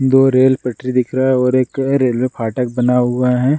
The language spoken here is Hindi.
दो रेल पटरी दिख रहा है और एक रेलवे फाटक बना हुआ है।